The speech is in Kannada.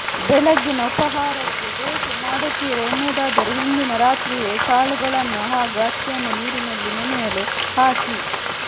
ಬೆಳಗ್ಗಿನ ಉಪಹಾರಕ್ಕೆ ದೋಸೆ ಮಾಡುತ್ತೀರಾ ಎನ್ನುವುದಾದರೆ ಹಿಂದಿನ ರಾತ್ರಿಯೇ ಕಾಳುಗಳನ್ನು ಹಾಗೂ ಅಕ್ಕಿಯನ್ನು ನೀರಿನಲ್ಲಿ ನೆನೆಯಲು ಹಾಕಿ